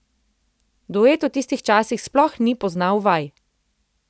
Duet v tistih časih sploh ni poznal vaj.